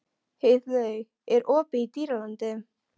Heiðlaug, er opið í Dýralandi?